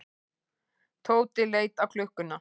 Tóti leit á klukkuna.